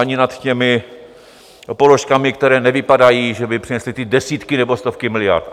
ani nad těmi položkami, které nevypadají, že by přinesly ty desítky nebo stovky miliard.